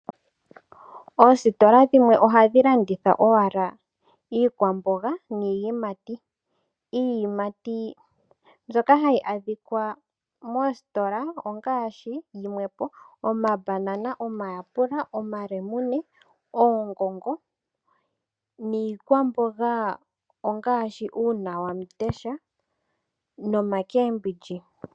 Oositola dhimwe oha dhi landitha owala iikwamboga niiyimati. Iiyimati ndjoka hayi adhikwa moositola ongaashi yimwe po omambanana, omayapula, omalemune, oongongo niikwamboga ongaashi uunawamundesha nomakembindji.